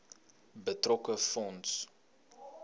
betrokke fonds